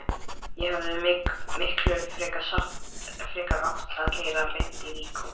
Ég hefði miklu frekar átt að keyra beint í líkhúsið.